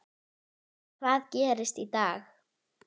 Hvað gerist í dag?